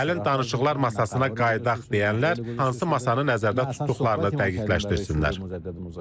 Gəlin danışıqlar masasına qayıdaq deyənlər hansı masanı nəzərdə tutduqlarını dəqiqləşdirsinlər.